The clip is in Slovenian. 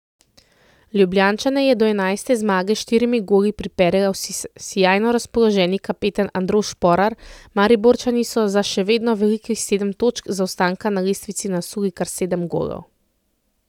Ljubljančane je do enajste zmage s štirimi goli pripeljal sijajno razpoloženi kapetan Andraž Šporar, Mariborčani so za še vedno velikih sedem točk zaostanka na lestvici nasuli kar sedem golov.